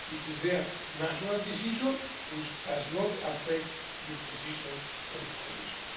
It is their national decision, which does not affect the position of the Commission.